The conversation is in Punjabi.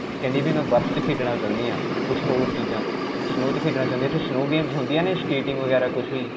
ਕਹਿੰਦੀ ਕਿ ਮੈਂ ਬਰਫ 'ਚ ਖੇਡਣਾ ਚਾਹੁੰਦੀ ਹਾਂ. ਕੁਝ ਹੋਰ ਚੀਜ਼ਾਂ, snow 'ਚ ਖੇਡਣਾ ਚਾਹੁੰਦੀ ਹੈ. ਉਥੇ snow games ਹੁੰਦੀਆਂ ਨੇ, skating ਵਗੈਰਾ ਕੁਝ ਵੀ?